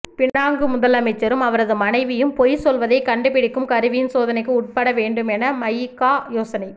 Penang முதலமைச்சரும் அவரது மனைவியும் பொய் சொல்வதைக் கண்டு பிடிக்கும் கருவியின் சோதனைக்கு உட்பட வேண்டும் என மஇகா யோசனை